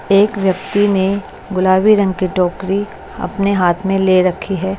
एक व्यक्ति ने गुलाबी रंग की टोकरी अपने हाथ में ले रखी है।